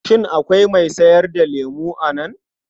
Shin akwai mai sayar da lemo a nan?